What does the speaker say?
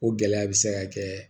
O gɛlɛya bɛ se ka kɛ